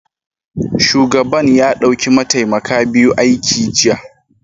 Shugaban ya dauki mataimaka biyu aiki jiya